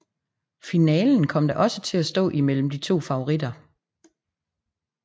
Finalen kom da også til at stå imellem de to favoritter